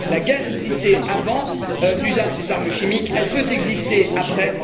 La guerre existait avant l'usage des armes chimiques, elle peut exister après.